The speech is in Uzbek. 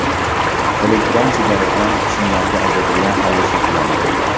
Elektron sigaretalar qismlarga ajratilgan holda sotiladi.